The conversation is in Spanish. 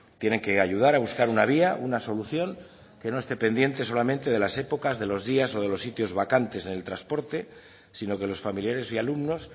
tienen que ayudar a buscar una vía una solución que no esté pendiente solamente de las épocas de los días o de los sitios vacantes en el transporte sino que los familiares y alumnos